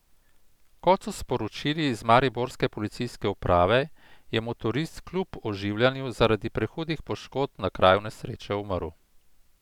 Kot so sporočili z mariborske policijske uprave, je motorist kljub oživljanju zaradi prehudih poškodb na kraju nesreče umrl.